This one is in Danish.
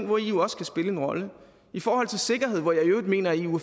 hvor eu også kan spille en rolle i forhold til sikkerhed hvor jeg i øvrigt mener at eu